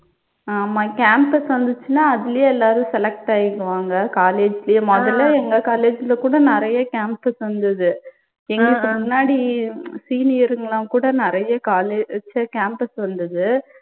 ஆமா campus வந்துச்சுன்னா அதுலயே எல்லாரும் select ஆயிடுவாங்க college லயே முதல்ல. எங்க college ல கூட நிறைய campus வந்துது எங்களுக்கு முன்னாடி senior ங்கலாம் கூட நிறைய college அஹ் ச்ச campus வந்துது